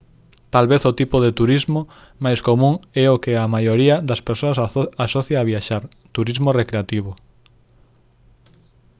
tal vez o tipo de turismo máis común é o que a maioría das persoas asocia a viaxar turismo recreativo